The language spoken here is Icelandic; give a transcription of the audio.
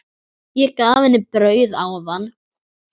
Ég gaf henni brauð áðan.